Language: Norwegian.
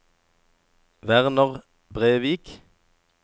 Werner Brevik